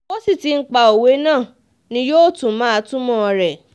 bó sì ti ń pa òwe náà ni yóò tún máa túmọ̀ rẹ̀